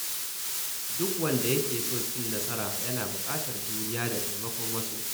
Duk wanda yake son cin nasara yana buƙatar juriya da taimakon wasu.